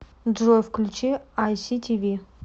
джой включи ай си ти ви